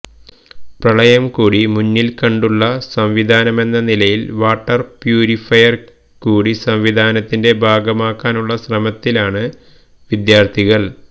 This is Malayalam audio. പ്രളയം കൂടി മുന്നില്ക്കണ്ടുള്ള സംവിധാനമെന്ന നിലയില് വാട്ടര് പ്യൂരിഫയര് കൂടി സംവിധാനത്തിന്റെ ഭാഗമാക്കാനുള്ള ശ്രമത്തിലാണ് വിദ്യാര്ഥികള്